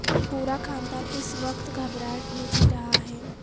پورا خاندان اس وقت گھبراہٹ میں جی رہا ہے